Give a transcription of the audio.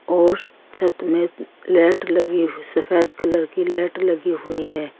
और छत में लाइट लगी हुई सफेद कलर की लाइट लगी हुई है।